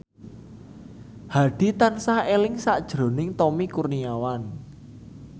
Hadi tansah eling sakjroning Tommy Kurniawan